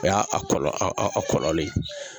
O y'a a kɔlɔlɔ ye